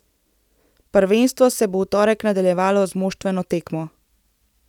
Prvenstvo se bo v torek nadaljevalo z moštveno tekmo.